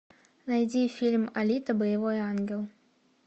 найди фильм алита боевой ангел